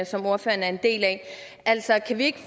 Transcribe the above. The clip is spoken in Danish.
som ordføreren er en del af altså kan vi ikke